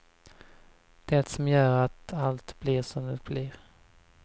Det som gör att allt blir som det blir.